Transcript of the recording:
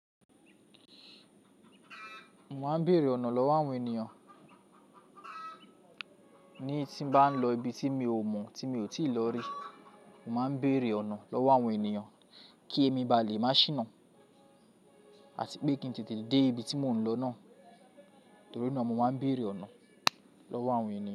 Mo máa ń béèrè ọ̀nà lọ́wọ́ àwọn ènìyàn ní tí mo bá ń lọ ibi tí mi ò mọ̀, tí mi ò tíì lọ rí. Mo máa ń béèrè ọ̀nà lọ́wọ́ àwọn ènìyàn kí èmi bá lè má ṣìnà, àti pé kí n tètè dé ibi tí mò ń lọ náà. Torí náà mo máa ń béèrè ọ̀nà lọ́wọ́ àwọn ènìyàn.